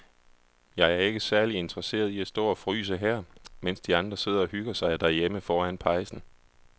Jeg er ikke særlig interesseret i at stå og fryse her, mens de andre sidder og hygger sig derhjemme foran pejsen.